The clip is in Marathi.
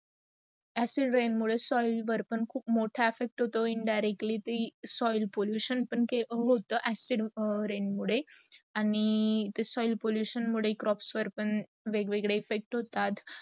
acid rain मुडे soil अर्पण खूप मोठा इफेक्ट होऊन जातो indirectly ती soil pollution पण होत acid rain मुडे. आणी soil pollution मुडे crops अर्पण पण वेग - वेगडे effects होतात